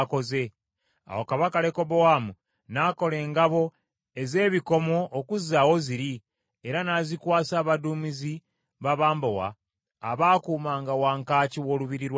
Awo kabaka Lekobowaamu n’akola engabo ez’ebikomo okuzzaawo ziri, era n’azikwasa abaduumizi b’abambowa abaakuumanga wankaaki w’olubiri lwa kabaka.